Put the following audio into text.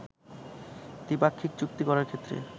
দ্বিপাক্ষিক চুক্তি করার ক্ষেত্রে